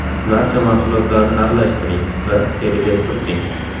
Barcha mahsulotlarni aralashtiring va teriga surting.